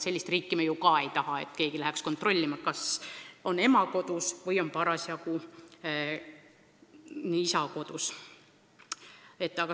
Sellist riiki me ka ei taha, kus keegi käiks kontrollimas, kas ema on mingil ajal kodus või on parasjagu isa kodus.